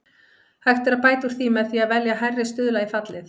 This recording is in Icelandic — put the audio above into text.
Hægt er að bæta úr því með því að velja hærri stuðla í fallið.